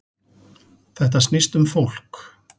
Þetta snýst um fólk